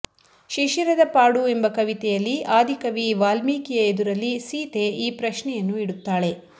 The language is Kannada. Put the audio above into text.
ಶಿಶಿರದ ಪಾಡು ಎಂಬ ಕವಿತೆಯಲ್ಲಿ ಆದಿಕವಿ ವಾಲ್ಮೀಕಿಯ ಎದುರಲ್ಲಿ ಸೀತೆ ಈ ಪ್ರಶ್ನೆಯನ್ನು ಇಡುತ್ತಾಳೆ